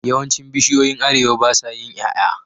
Yawancin bishiyoyin arewa basa yin yaya